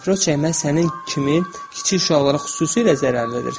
Papiros çəkmək sənin kimi kiçik uşaqlara xüsusilə zərərlidir.